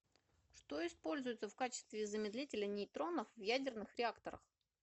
что используется в качестве замедлителя нейтронов в ядерных реакторах